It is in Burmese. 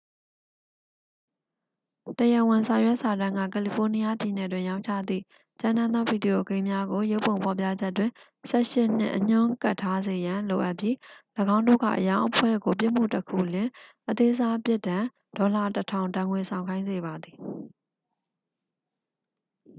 "တရားဝင်စာရွက်စာတမ်းက ကယ်လီဖိုးနီးယားပြည်နယ်တွင် ရောင်းချသည့် ကြမ်းတမ်းသော ဗီဒီယိုဂိမ်းများကို ရုပ်ပုံ ဖော်ပြချက်တွင်""၁၈" နှင့် အညွှန်းကပ်ထားစေရန် လိုအပ်ပြီး ၎င်းတို့၏ အရောင်းအဖွဲ့ကို ပြစ်မှုတစ်ခုလျှင် အသေးစား ပြစ်ဒဏ် $၁၀၀၀ ဒဏ်ငွေ ဆောင်ခိုင်းစေပါသည်။